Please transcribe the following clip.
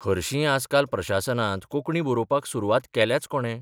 हरशींय आजकाल प्रशासनांत कोंकणी बरोवपाक सुरवात केल्याच कोणे?